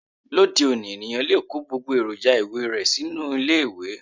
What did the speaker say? Lóde òní, ènìyàn lè kó gbogbo èròjà ìwẹ̀ rẹ sínú ilé ìwẹ̀